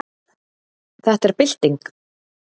Þetta er bylting.